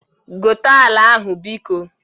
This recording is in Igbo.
Gote ala ahụ biko?